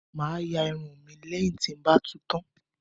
Mo máa ya irun mi lẹ́yìn tí ń ba tu tán